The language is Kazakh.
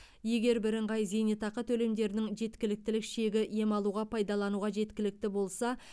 егер бірыңғай зейнетақы төлемдерінің жеткіліктік шегі ем алуға пайдалануға жеткілікті болса